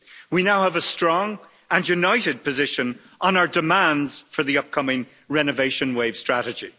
We now have a strong and united position on our demands for the upcoming renovation wave strategy.